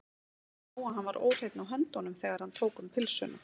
Ég sá að hann var óhreinn á höndunum, þegar hann tók um pylsuna.